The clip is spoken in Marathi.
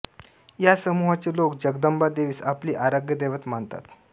या समूहाचे लोक जगदंबा देवीस आपले आराध्य दैवत मानतात